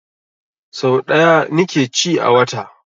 Sau ɗaya ni ke ci a wata